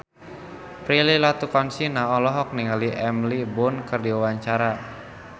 Prilly Latuconsina olohok ningali Emily Blunt keur diwawancara